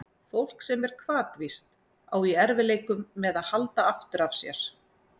Fólk sem er hvatvíst á í erfiðleikum með að halda aftur af sér.